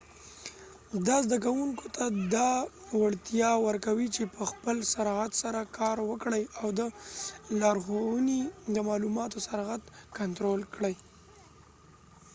دا زده کوونکو ته دا وړتیا ورکوي چې په خپل سرعت سره کار وکړي او د لارښونې د معلوماتو سرعت کنترول کړي